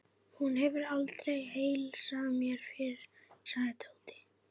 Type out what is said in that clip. Hún hefur aldrei heilsað mér fyrr, sagði Tóti.